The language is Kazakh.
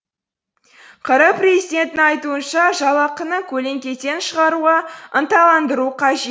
қр президентінің айтуынша жалақыны көлеңкеден шығаруға ынталандыру қажет